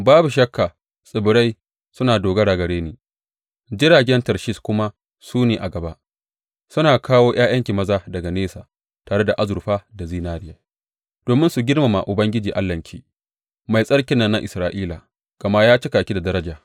Babu shakka tsibirai suna dogara gare ni; jiragen Tarshish kuma su ne a gaba, suna kawo ’ya’yanki maza daga nesa, tare da azurfa da zinariya, domin su girmama Ubangiji Allahnki, Mai Tsarkin nan na Isra’ila, gama ya cika ki da daraja.